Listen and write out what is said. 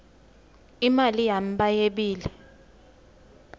imali yami bayebile